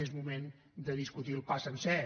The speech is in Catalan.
és moment de discutir el pa sencer